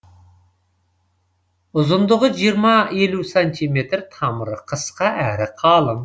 ұзындығы жиырма елу сантиметр тамыры қысқа әрі қалың